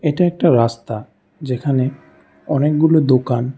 এটা একটা রাস্তা যেখানে অনেকগুলো দোকান।